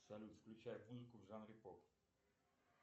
салют включай музыку в жанре поп